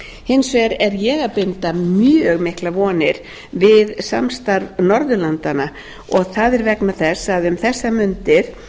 hins vegar er ég að binda mjög miklar vonir við samstarf norðurlandanna og það er vegna þess að um þessar mundir